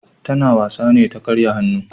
Ta na wasa ne ta karya hannu